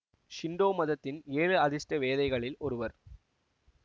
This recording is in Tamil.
ஷின்டோ மதத்தின் ஏழு அதிர்ஷ்ட வேதைகளில் ஒருவர்